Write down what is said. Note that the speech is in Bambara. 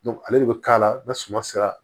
ale de bɛ k'a la n'a suma sera